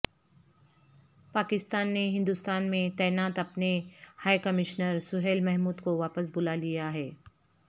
پاکستان نے ہندوستان میں تعینات اپنے ہائی کمشنر سہیل محمود کو واپس بلا لیا ہے